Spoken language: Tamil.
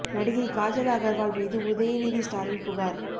நடிகை காஜல் அகர்வால் மீது உதயநிதி ஸ்டாலின் புகார்